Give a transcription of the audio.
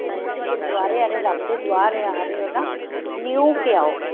ਤੁਸੀਂ ਗੁਰੁਦੁਆਰੇ ਆਲੇ ਰੱਬ ਦੇ ਦੁਆਰ ਆਂ ਰਹੇ ਹੋ ਨਾ ਨਹਿਓ ਕੇ ਆਓ